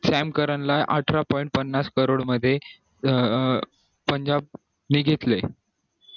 Sam Curran ला अठरा point पन्नास crore मध्ये पंजाब नि घेतलं